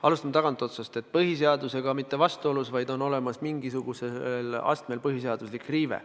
Alustan tagantotsast: eelnõu ei ole põhiseadusega mitte vastuolus, vaid on olemas mingisugusel astmel põhiseaduse riive.